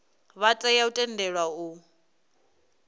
vha tea u tendelwa u